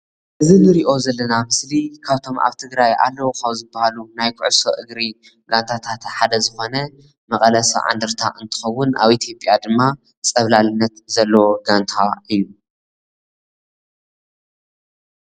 እዚ እንሪኦ ዘለና ምስሊ ካብቶም ኣብ ትግራይ ኣለው ካብ ዝበሃሉ ናይ ኩዕሶ እግሪ ጋንታታት ሓደ ዝኾነ መቀለ 70 እንደረታ እንከዉን ኣብ አትዮጽያ ድማ ፀብለልታ ዘለዎ ጋንታ እዩ ።